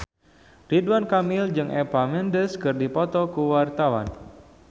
Ridwan Kamil jeung Eva Mendes keur dipoto ku wartawan